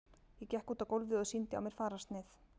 Ég gekk út á gólfið og sýndi á mér fararsnið.